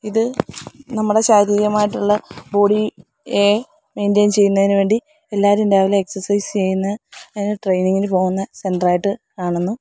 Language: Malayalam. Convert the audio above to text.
ഇത് നമ്മടെ ശാരീരികമായിട്ടുള്ള ബോഡി എ മെയ്ന്റെയ്ൻ ചെയ്യുന്നതിന് വേണ്ടി എല്ലാരും രാവിലെ എക്സർസൈസ് ചെയ്യുന്ന ട്രെയിനിങ്ങിന് പോകുന്ന സെന്റർ ആയിട്ട് കാണുന്നു.